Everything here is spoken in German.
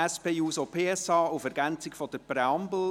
SP-JUSO-PSA auf Ergänzung zur Präambel: